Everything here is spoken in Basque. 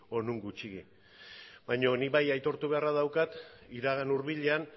o non gutxiegi baina nik bai aitortu beharra daukat iragan hurbilean